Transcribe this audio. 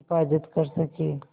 हिफ़ाज़त कर सकें